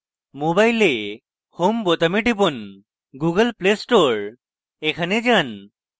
mobile home বোতামে টিপুন>> google play store এ যান>>